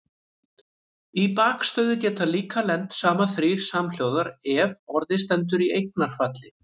Í bakstöðu geta líka lent saman þrír samhljóðar ef orðið stendur í eignarfalli.